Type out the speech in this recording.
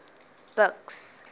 buks